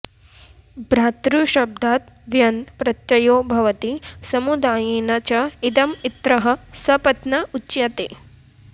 भ्रातृशब्दाद् व्यन् प्रत्ययो भवति समुदायेन च इदम् इत्रः सपत्न उच्यते